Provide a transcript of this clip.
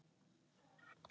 Hann er samtals á pari.